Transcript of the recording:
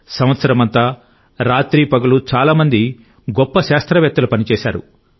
సంవత్సరమంతా రాత్రి పగలు చాలా మంది గొప్ప శాస్త్రవేత్తలు పనిచేశారు